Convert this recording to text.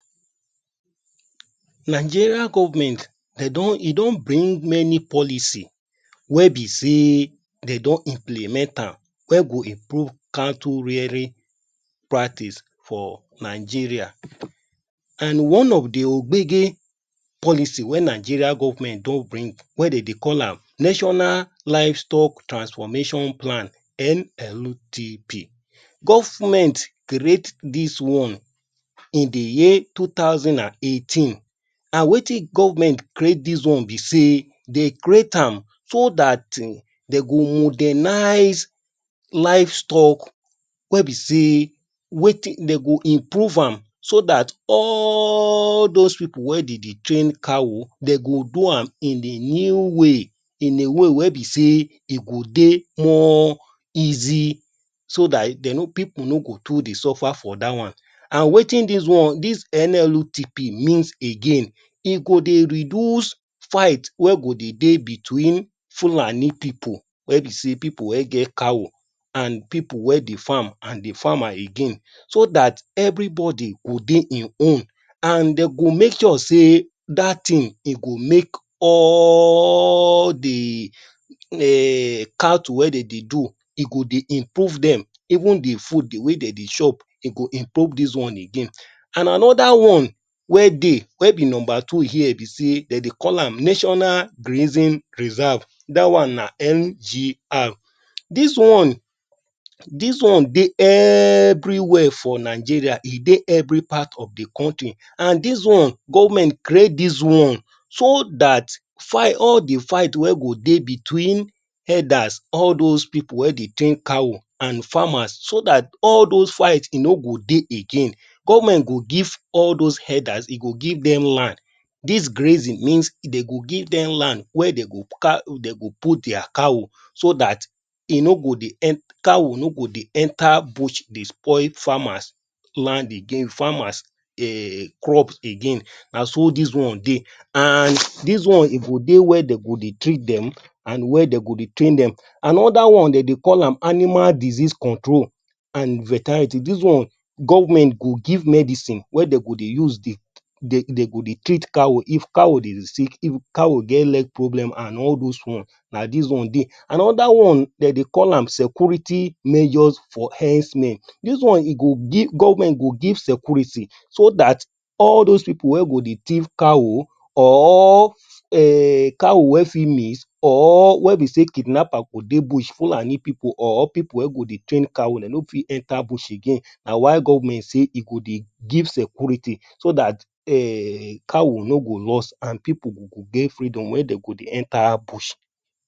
Nigerian government, dey don, e don bring many policy wey be say, dey don implement am wey go improve cattle rearing pratice for Nigeria. And one of the obege policy wey Nigeria government don bring, wey dey de call am National Livestock Transformation Plan (NLTP). Government create dis one in the year two thousand and eighteen. And wetin government create dis one be say, dey create am so dat, dey go organize livestock wey be say, wetin, dey go improve am. So dat all those people wey dey dey train cow, dey go do am in a new way. In a way wey be say e go dey more easy so dat, dey no pipu no go too dey suffer for dat one. And wetin dis NLTP mean again, e go dey reduce fight wey go dey between Fulani pipu, wey be say pipu wey get cow and pipu wey dey farm, and the farmer again. So dat, everybody go dey e own. And dey go make sure say, dat thing, dey go make all the um Cattle wey dem dey do, go dey improve dem. Even the food wey dem dey chop, go improve dis one again. And another one wey dey, wey be number two here, be say, dem dey call am National Grazing Reserve (NGR). Dis one dis one dey everywhere for Nigeria. E dey every part of the country. And these one, government create dis one so dat, fight all the fight, fight wey go dey between herders, all those pipu wey dey train cow, and farmers so dat all those fight no go dey again. Government go give all those herders, e go give dem land. These grazing mean, e go give dem land wey dey go put their cow, so dat cow no go dey enter bush dey spoil farmers land again, farmers um crop again. Naso dis one dey. And dis one e go dey where dey go treat dem and where dey go train dem. Another one dey, dey call am animal disease control and veterinary. Dis one, government go give medicine wey dey go dey use dey, dey go dey treat cow. If cow dey sick, if cow get leg problem and all those ones. Na dis one dey. Another one, dey dey call am security measures for herdsmen. Dis one, e go give government, government go give security so dat all those pipu wey go dey tiff cow or cow wey fit miss or wey be say kidnappers go dey bush. Fulani pipu or pipu wey go dey train cow, dem no fit enter bush again. Na why government say e go dey give security so dat, [um]cow no go lost and pipu go get freedom wey dey go dey enter bush.